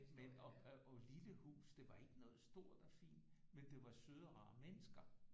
Med et lille hus det var ikke noget stort og fint men det var søde og rare mennesker